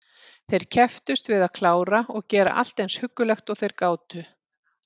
Þeir kepptust við að klára og gera allt eins huggulegt og þeir gátu.